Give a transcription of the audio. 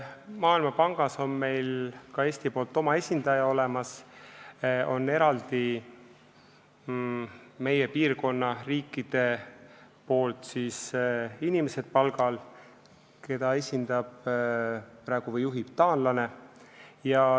Maailmapangas on ka Eestil oma esindaja olemas, meie piirkonna riikide poolt on palgal eraldi inimesed, keda praegu juhib taanlane.